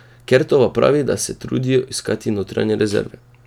Kertova pravi, da se trudijo iskati notranje rezerve.